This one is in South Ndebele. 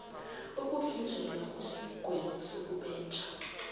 ukuvinjelwa kwesigwebo sokubetha